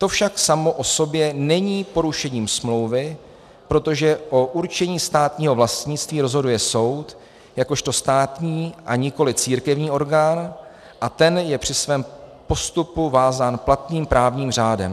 To však samo o sobě není porušením smlouvy, protože o určení státního vlastnictví rozhoduje soud jakožto státní a nikoli církevní orgán a ten je při svém postupu vázán platným právním řádem.